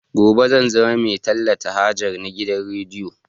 Gobe zan zama mai talata haja na gidan rediyo